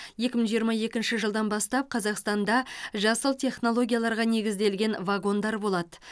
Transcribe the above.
екі мың жиырма екінші жылдан бастап қазақстанда жасыл технологияларға негізделген вагондар болады